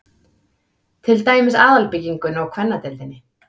Til dæmis aðalbyggingunni og kvennadeildinni